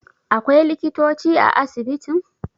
akwai likitoci a asibitin?